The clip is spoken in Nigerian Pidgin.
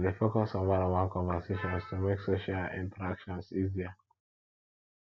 i dey focus on oneonone conversations to make social interactions easier